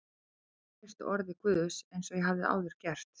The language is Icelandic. Ég ákvað að treysta orði Guðs eins og ég hafði áður gert.